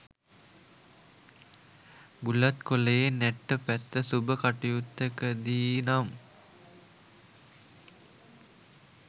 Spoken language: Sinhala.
බුලත් කොළයේ නැට්ට පැත්ත සුබ කටයුත්තකදී නම්